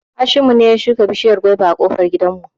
Hashimu ne ya shuka bishiyar gwaiba a ƙofar gidan mu